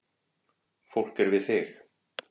Fólk er við þig